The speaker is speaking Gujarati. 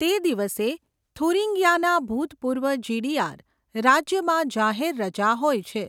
તે દિવસે થુરિંગિયાના ભૂતપૂર્વ જીડીઆર રાજ્યમાં જાહેર રજા હોય છે.